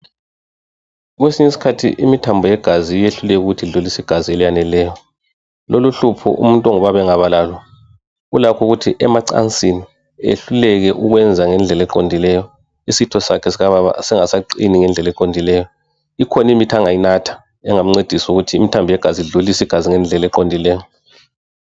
Kwesinye isikhathi imithambo yegazi iyehluleka ukuthi idlulise igazi elaneleyo. Loluhlupho umuntu ongubaba engaba lalo ulakho ukuthi emacansini ehluleke ukwenza ngendlela eqondileyo. Isitho sakhe sikababa singasaqini ngendlela eqondileyo. Ikhona imithi angayinatha engamncedisa ukuthi imithambo yegazi idlulise igazi ngendlela eqondileyo.